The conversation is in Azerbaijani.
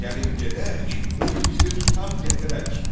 Gəlin gedək, o igidi tutaq gətirək.